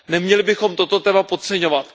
Neměli bychom toto téma podceňovat.